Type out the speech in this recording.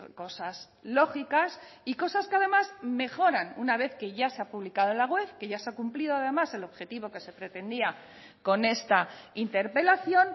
cosas lógicas y cosas que además mejoran una vez que ya se ha publicado en la web que ya se ha cumplido además el objetivo que se pretendía con esta interpelación